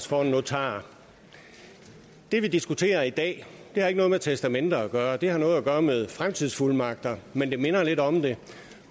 for en notar det vi diskuterer i dag har ikke noget med testamenter gøre det har noget at gøre med fremtidsfuldmagter men det minder lidt om det